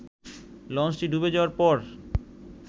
লঞ্চটি ডুবে যাওয়ার পর